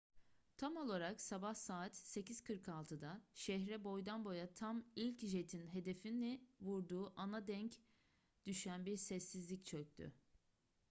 tam olarak sabah saat 8:46'da şehre boydan boya tam ilk jetin hedefini vurduğu ana denk düşen bir sessizlik çöktü